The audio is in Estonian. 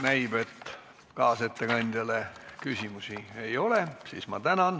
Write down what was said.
Näib, et kaasettekandjale küsimusi ei ole.